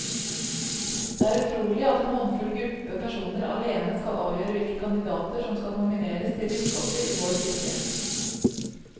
Det er utrolig at en håndfull gruppe personer alene skal avgjøre hvilke kandidater som skal nomineres til biskoper i vår kirke.